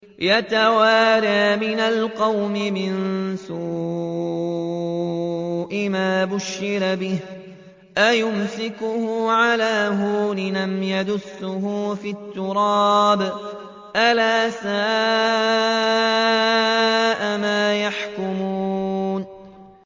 يَتَوَارَىٰ مِنَ الْقَوْمِ مِن سُوءِ مَا بُشِّرَ بِهِ ۚ أَيُمْسِكُهُ عَلَىٰ هُونٍ أَمْ يَدُسُّهُ فِي التُّرَابِ ۗ أَلَا سَاءَ مَا يَحْكُمُونَ